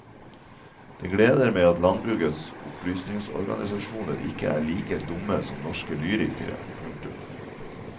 Det gleder meg at landbrukets opplysningsorganisasjoner ikke er like dumme som norske lyrikere. punktum